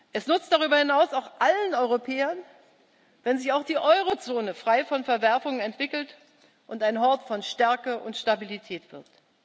Es nützt darüber hinaus auch allen Europäern, wenn sich auch die Eurozone frei von Verwerfungen entwickelt und ein Hort von Stärke und Stabilität wird.